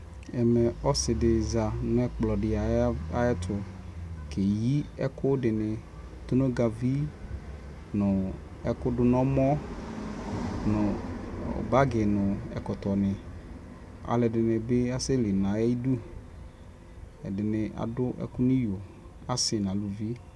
Ɛmɛ ɔsi di za nʋ ɛkplɔ di ayɛtʋ keyi ɛkʋdini, tʋnʋgavi nʋ ɛkʋ dʋ n'ɛmɔ nʋ bagi nʋ ɛkɔtɔ ni Alʋɛdini bi asɛli n'ayidʋ Ɛdi ni adʋ ɛkʋ niyo, asi nʋ elʋvi